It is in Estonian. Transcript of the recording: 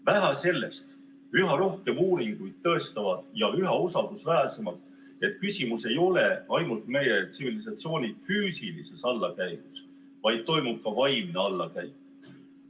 Vähe sellest, üha rohkem uuringuid tõestavad ja üha usaldusväärsemalt, et küsimus ei ole ainult meie tsivilisatsiooni füüsilises allakäigus, vaid toimub ka vaimne allakäik.